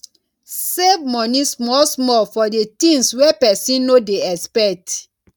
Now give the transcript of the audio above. save money small small for di things wey person no dey expect